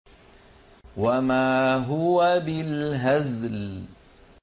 وَمَا هُوَ بِالْهَزْلِ